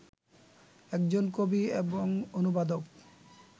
একজন কবি এবং অনুবাদক